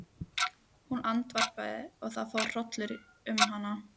Hún andvarpaði og það fór hrollur um hana.